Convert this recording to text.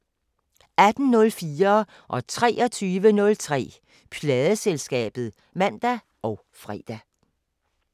18:04: Pladeselskabet (man og fre) 23:03: Pladeselskabet (man og fre)